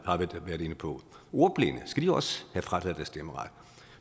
inde på ordblinde skal de også have frataget deres stemmeret